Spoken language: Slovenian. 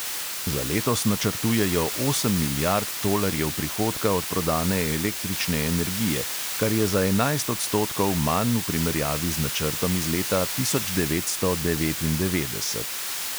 Za letos načrtujejo osem milijard tolarjev prihodka od prodane električne energije, kar je za enajst odstotkov manj v primerjavi z načrtom iz leta tisoč devetsto devetindevetdeset.